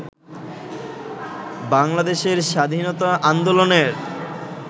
বাংলাদেশের স্বাধীনতা আন্দোলনের